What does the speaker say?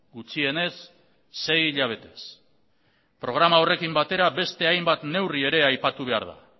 gutxienez sei hilabetez programa horrekin batera beste hainbat neurri ere aipatu behar da